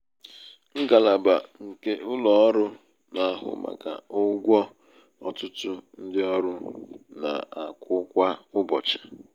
*ngalaba hr nke ụlọ ọrụ ọrụ na-ahụ màkà ụgwọ ọtụtụ ndị ọrụ na-akwụ kwa ụbọchị.